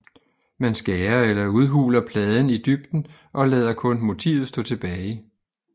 Man skærer eller udhuler pladen i dybden og lader kun motivet stå tilbage